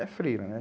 É freira, né?